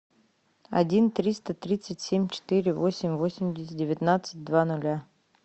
один триста тридцать семь четыре восемь восемьдесят девятнадцать два ноля